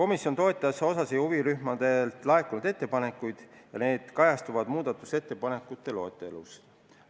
Mõningaid huvirühmadelt laekunud ettepanekuid komisjon toetas ja need kajastuvad muudatusettepanekute loetelus.